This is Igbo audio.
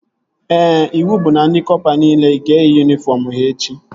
Ee, iwu bụ na ndị kọpa nile ga-eyi yunifọm ha echi